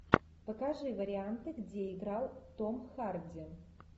покажи варианты где играл том харди